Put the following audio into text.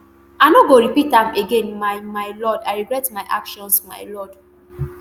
i no go repeat am again my my lord i regret my actions my lord